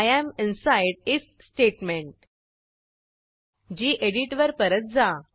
I am inside if statement गेडीत वर परत जा